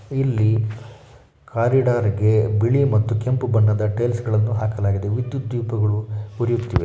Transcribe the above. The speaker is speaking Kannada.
ಇಲ್ಲಿ ಕಾರಿಡಾರ್ ಇಗೆ ಬಿಳಿ ಮತ್ತು ಕೆಂಪು ಬಣ್ಣದ ಟೈಲ್ಸ್ ಗಳನ್ನ ಹಾಕಲಾಗಿದೆ. ವಿದ್ಯುತ್ ದೀಪಗಳು ಉರಿಯುತ್ತಿವೆ.